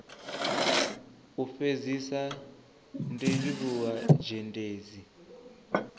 u fhedzisa ndi livhuwa zhendedzi